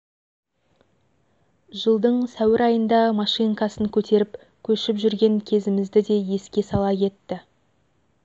жылдың сәуір айында машинкасын көтеріп көшіп жүрген кезімізді де еске сала кетті